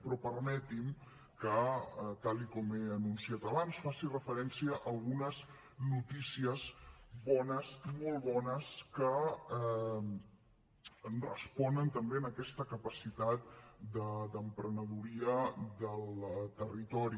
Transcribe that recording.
però permeti’m que tal com he anunciat abans faci referència a algunes notícies bones molt bones que responen també a aquesta capacitat d’emprenedoria del territori